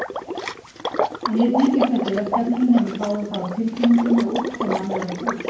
En ég tengist ekki verkefninu nema ég fái það á tilfinninguna að útkoman verði hús.